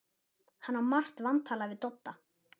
Hann á margt vantalað við Dodda.